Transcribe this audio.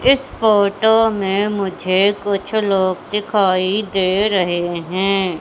इस फोटो में मुझे कुछ लोग दिखाई दे रहे हैं।